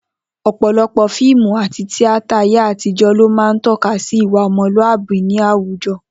O̩pò̩lo̩pò̩ fíìmù àti tíátà ayé àtijó̩ ló máa ń tó̩ka sí ìwà o̩mo̩lúàbí ní àwùjo̩